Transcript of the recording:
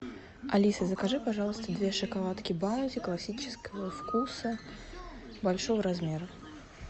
алиса закажи пожалуйста две шоколадки баунти классического вкуса большого размера